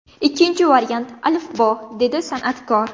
Ikkinchi variant ‘Alifbo‘”, – dedi san’atkor.